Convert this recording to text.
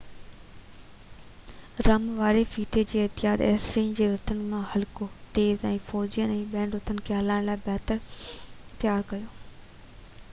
رم واري ڦيٿي جي ايجاد اسيرين جي رٿن کي هلڪو تيز ۽ فوجين ۽ ٻين رٿن کي هلائڻ لاءِ بهتر تيار ڪيو